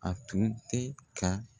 A tun tɛ ka